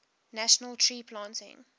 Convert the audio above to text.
national tree planting